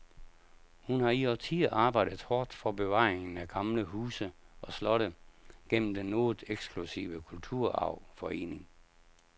Hun har i årtier arbejdet hårdt for bevaringen af gamle huse og slotte gennem den noget eksklusive kulturarvforening.